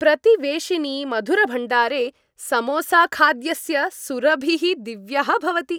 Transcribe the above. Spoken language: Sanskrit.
प्रतिवेशिनि मधुरभण्डारे समोसाखाद्यस्य सुरभिः दिव्यः भवति।